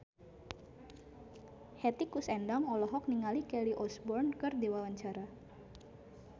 Hetty Koes Endang olohok ningali Kelly Osbourne keur diwawancara